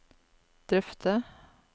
drøfte